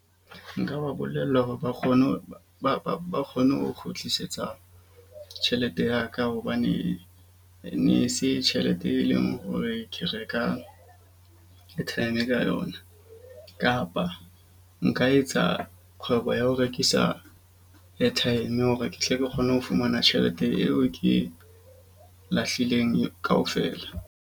Nka ba bolella hore ba kgone hore ba kgone ho kgutlisetsa tjhelete ya ka. Hobane e ne se tjhelete, e leng hore ke reka airtime ka yona, kapa nka etsa kgwebo ya ho rekisa airtime. Hore ke tle ke kgone ho fumana tjhelete eo ke lahlileng kaofela.